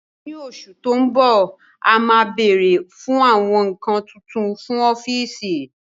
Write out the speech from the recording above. Ní oṣù tó ń bọ̀, a máa bèrè fún àwọn nǹkan tuntun fún ọ́fíìsì